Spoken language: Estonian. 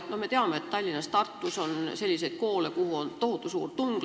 Me ju teame, et Tallinnas ja Tartus on koole, kuhu on tohutu suur tung.